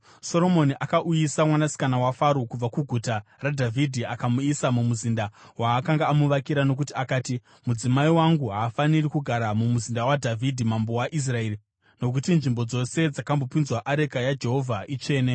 Soromoni akauyisa mwanasikana waFaro kubva kuGuta raDhavhidhi akamuisa mumuzinda waakanga amuvakira nokuti akati, “Mudzimai wangu haafaniri kugara mumuzinda waDhavhidhi mambo waIsraeri nokuti nzvimbo dzose dzakambopinzwa areka yaJehovha itsvene.”